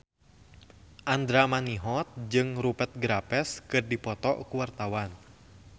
Andra Manihot jeung Rupert Graves keur dipoto ku wartawan